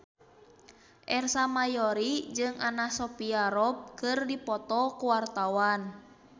Ersa Mayori jeung Anna Sophia Robb keur dipoto ku wartawan